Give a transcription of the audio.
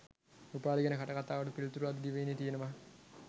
උපාලි ගැන කටකතාවට පිළිතුරු අද දිවයිනේ තියෙනවා